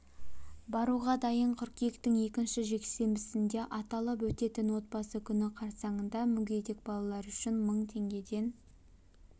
баруға дайын қыркүйектің екінші жексенбісінде аталып өтетін отбасы күні қарсаңында мүгедек балалар үшін мың теңгеден